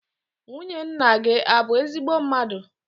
Nwunye nna gị a bụ ezigbo mmadụ?